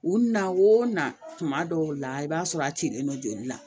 U na o na tuma dɔw la i b'a sɔrɔ a cilen don joli la